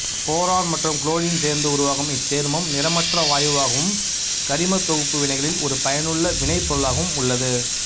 boron மற்றும் chlorine சேர்ந்து உருவாகும் இச்சேர்மம் நிறமற்ற வாயுவாகவும் கரிமத் தொகுப்பு வினைகளில் ஒரு பயனுள்ள வினைப்பொருளாகவும் உள்ளது